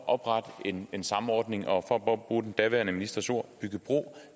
oprette en en samordning og for at bruge den daværende ministers ord bygge bro